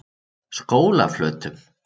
Skólaflötum